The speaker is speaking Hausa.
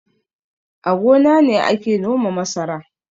A gona ne ake noma masara